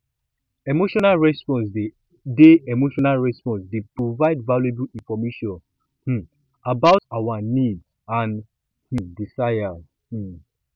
emotional responses dey emotional responses dey provide valuable information um about our needs and um desires um